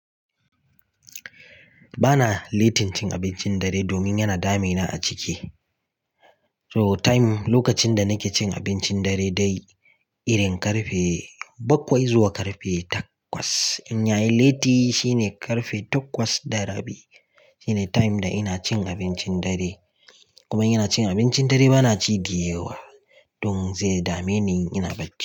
Ba na litin cin abincin dare domin yana damina a ciki. So time, lokacin da nike cin abincin dare dai, irin ƙarfe bakwai zuwa ƙarfe takwas. In yayi liti shine ƙarfe takwas da rabi. Shine time da ina cin abincin dare. Kuma ina cin abincin dare bana ci deyawa don zai dame ni in ina bacci.